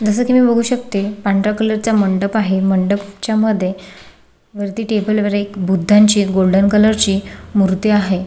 जस की मी बघू शकते पांढरा कलरचा मंडप आहे मंडपच्यामध्ये वरती टेबलवर एक बुद्धाची एक गोल्डन कलरची मूर्ती आहे.